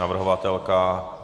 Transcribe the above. Navrhovatelka?